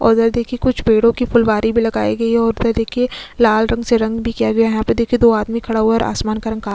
उधर देखिये कुछ पेड़ो की फूलवारी भी लगायी गई है और उधर देखिये लाल रंग से रंग भी किया गया है यहाँ पर देखिये दो आदमी खड़ा हुआ है और आसमान का रंग काला --